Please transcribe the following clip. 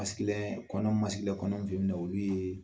kɔnɔn kɔnɔn olu ye